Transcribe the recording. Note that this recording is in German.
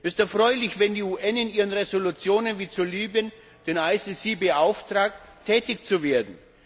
Es ist erfreulich, wenn die UN in ihren Resolutionen wie zu Libyen den IStGH beauftragten, tätig zu werden.